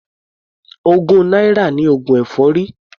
Ogún náírà ni oògùn èfọ́rí.